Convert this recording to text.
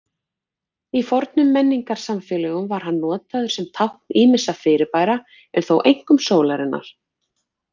Í fornum menningarsamfélögum var hann notaður sem tákn ýmissa fyrirbæra, en þó einkum sólarinnar.